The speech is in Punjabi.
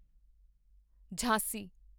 ਝਾਂਸੀ